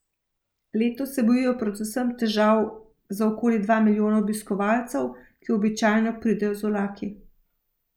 Letos se bojijo predvsem težav za okoli dva milijona obiskovalcev, ki običajno pridejo z vlaki.